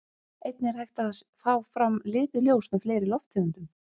Einnig er hægt að fá fram lituð ljós með fleiri lofttegundum.